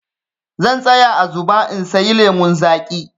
Zan tsaya a zuɓa in sayi lemun zaƙi.